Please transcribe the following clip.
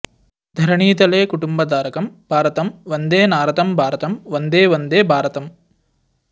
धरणीतले कुटुम्बधारकं भारतं वन्दे नारतं भारतं वन्दे वन्दे भारतम्